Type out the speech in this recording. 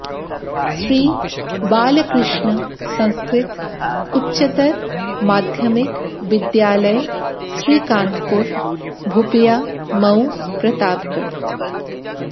श्री बालकृष्ण संस्कृत उच्चतर माध्यमिक विद्यालय श्रीकांतपुर भुपियामऊ प्रतापगढ़